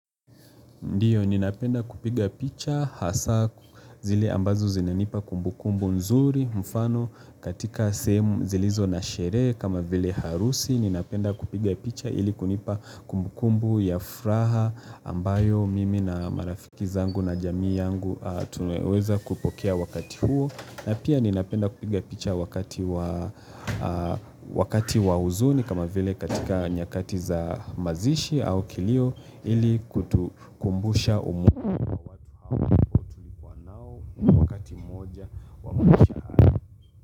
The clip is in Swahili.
Ndio ninapenda kupiga picha hasa zile ambazo zinanipa kumbukumbu nzuri mfano katika sehemu zilizo na sherehe kama vile harusi, ninapenda kupiga picha ili kunipa kumbukumbu ya furaha ambayo mimi na marafiki zangu na jamii yangu tunaweza kupokea wakati huo. Na pia ninapenda kupiga picha wakati wa huzuni kama vile katika nyakati za mazishi au kilio ili kutukumbusha umuhimu.